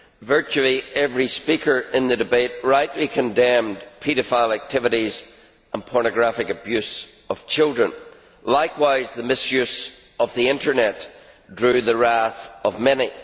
Virtually every speaker in the debate rightly condemned paedophile activities and pornographic abuse of children. Likewise, the misuse of the Internet drew the wrath of many.